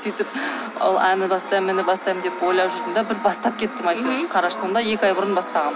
сөйтіп ол әне бастаймын міне бастаймын деп ойлап жүрдім де бір бастап кеттім әйтеуір қарашы сонда екі ай бұрын бастағанмын